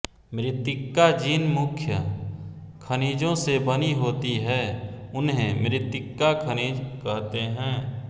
मृत्तिका जिन मुख्य खनिजों से बनी होती है उन्हें मृत्तिका खनिज कहते हैं